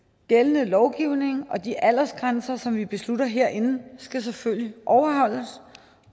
gældende lovgivning og de aldersgrænser som vi beslutter herinde skal selvfølgelig overholdes